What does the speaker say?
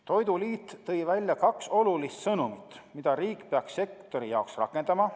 Toiduliit tõi välja kaks olulist sõnumit, mida riik peaks sektori jaoks rakendama.